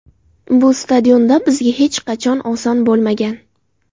Bu stadionda bizga hech qachon oson bo‘lmagan.